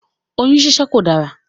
Oyún síṣẹ́ kò dárá.